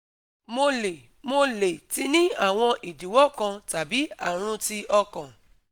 Mo le Mo le ti ni awon idiwo kan tabi arun ti okan?